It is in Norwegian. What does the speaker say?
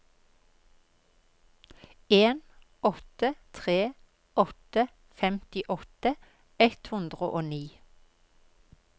en åtte tre åtte femtiåtte ett hundre og ni